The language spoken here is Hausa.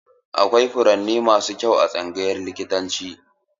Akwai furanni masu kyau a tsangayar likitanci.